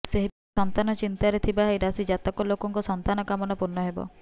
ସେହିପରି ସନ୍ତାନ ଚିନ୍ତାରେ ଥିବା ଏହି ରାଶି ଜାତକ ଲୋକଙ୍କ ସନ୍ତାନ କାମନା ପୂର୍ଣ୍ଣ ହେବ